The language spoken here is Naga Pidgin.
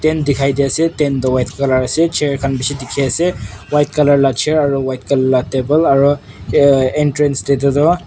dikhai di ase tent toh white colour ase chair khan bishi dikhi ase white colour la chair aru white colour la table aru entrance te toh.